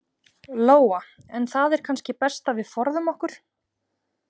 Lóa: En það er kannski best að við forðum okkur?